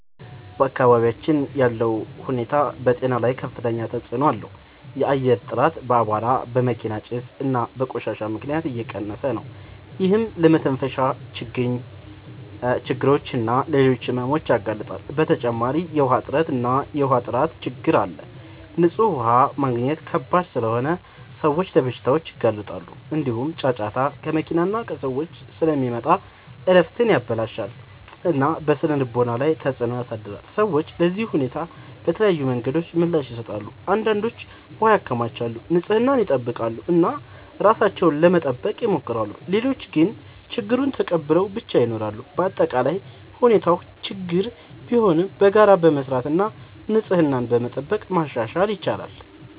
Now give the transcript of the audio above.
በአካባቢያችን ያለው ሁኔታ በጤና ላይ ከፍተኛ ተጽዕኖ አለው። የአየር ጥራት በአቧራ፣ በመኪና ጭስ እና በቆሻሻ ምክንያት እየቀነሰ ነው፤ ይህም ለመተንፈሻ ችግኝ እና ለሌሎች ሕመሞች ያጋልጣል። በተጨማሪ የውሃ እጥረት እና የውሃ ጥራት ችግኝ አለ፤ ንጹህ ውሃ ማግኘት ከባድ ስለሆነ ሰዎች ለበሽታዎች ይጋለጣሉ። እንዲሁም ጫጫታ ከመኪና እና ከሰዎች ስለሚመጣ እረፍትን ያበላሽታል እና በስነ-ልቦና ላይ ተጽዕኖ ያሳድራል። ሰዎች ለዚህ ሁኔታ በተለያዩ መንገዶች ምላሽ ይሰጣሉ። አንዳንዶች ውሃ ያከማቻሉ፣ ንጽህናን ይጠብቃሉ እና ራሳቸውን ለመጠበቅ ይሞክራሉ። ሌሎች ግን ችግኙን ተቀብለው ብቻ ይኖራሉ። በአጠቃላይ ሁኔታው ችግኝ ቢሆንም በጋራ በመስራት እና ንጽህናን በመጠበቅ ማሻሻል ይቻላል።